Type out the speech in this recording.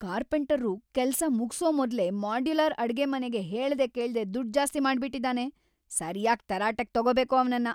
ಕಾರ್ಪೆಂಟರ್ರು ಕೆಲ್ಸ ಮುಗ್ಸೋ ಮೊದ್ಲೇ ಮಾಡ್ಯುಲರ್ ಅಡ್ಗೆಮನೆಗೆ ಹೇಳ್ದೆ ಕೇಳ್ದೆ ದುಡ್ಡ್‌ ಜಾಸ್ತಿ ಮಾಡ್ಬಿಟಿದಾನೆ, ಸರ್ಯಾಗ್‌ ತರಾಟೆಗ್‌ ತಗೋಬೇಕು ಅವ್ನನ್ನ.